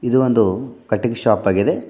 ಇದು ಒಂದು cutting shop ಆಗಿದೆ.